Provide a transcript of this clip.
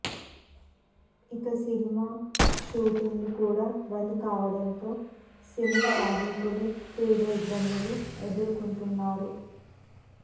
ఇక cinema shooting లు కూడా బంద్ కావడంతో సినీ కార్మికులు తీవ్ర ఇబ్బందులు ఎదుర్కొంటున్నారు